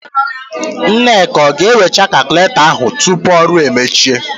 Nneka ọ ga-ewegachị kalkụletọ ahụ tupu ọrụ emechie?